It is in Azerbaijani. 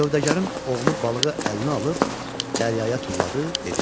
Sövdəgərin oğlu balığı əlinə alıb dəryaya tulladı, dedi: